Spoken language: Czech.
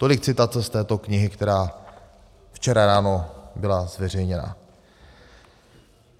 Tolik citace z této knihy, která včera ráno byla zveřejněna.